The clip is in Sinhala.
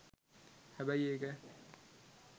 හැබැයි ඒක